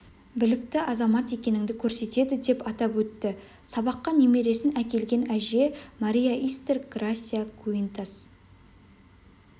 білікті азамат екеніңді көрсетеді деп атап өтті сабаққа немересін әкелген әже мария истер грасия гуинтас